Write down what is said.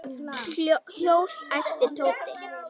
Hjól? æpti Tóti.